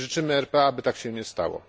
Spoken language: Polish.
Życzymy RPA, by tak się nie stało.